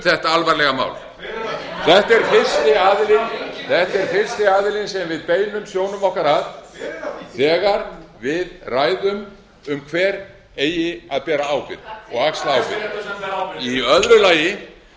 þetta algerlega mál þetta er fyrsti aðilinn sem við beinum sjónum okkar að þegar við ræðum um hver eigi að bera ábyrgð að bera ábyrgðina og